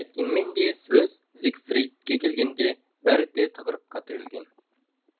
әйткенмен де сөз зигфридке келгенде бәрі де тығырыққа тірелген